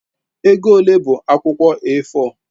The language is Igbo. Ego ole bụ akwụkwọ A4?